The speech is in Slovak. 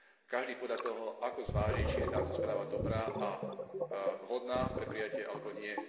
Každý podľa toho, ako zváži, či je táto správa dobrá a vhodná pre prijatie alebo nie.